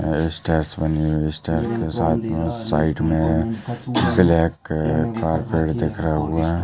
यहाँ स्टार्स बने हुए हैं स्टार्स साइड मे ब्लैक कार्पेट दिख रहा हुआ--